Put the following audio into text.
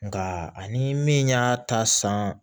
Nka ani min y'a ta san